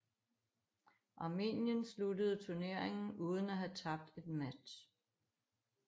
Armenien sluttede turneringen uden at have tabt en match